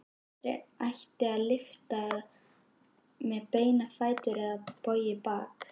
Aldrei ætti að lyfta með beina fætur eða bogið bakið.